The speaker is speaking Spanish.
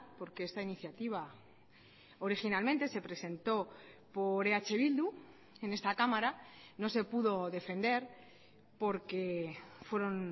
porque esta iniciativa originalmente se presentó por eh bildu en esta cámara no se pudo defender porque fueron